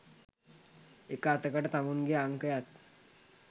එක අතකට තමුන්ගෙ අංකයත්